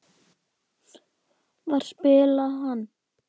Hvar spilaði hann?